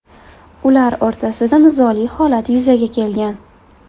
Ular o‘rtasida nizoli holat yuzaga kelgan.